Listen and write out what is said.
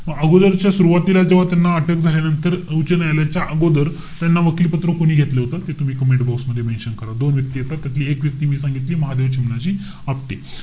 म अगोदरच्या सुरवातीला जेव्हा त्यांना अटक झाल्यानंतर उच्च न्यायालयाच्या अगोदर त्यांना वकीलपत्र कोणी घेतलं होत ते तूम्ही comment box मध्ये mention करा. दोन व्यक्ती येतात. त एक व्यक्ती मी सांगितली. महादेव चिमणाजी आपटे.